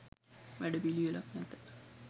වැඩ පිළිවෙලක් නැත